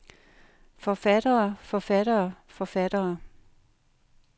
forfattere forfattere forfattere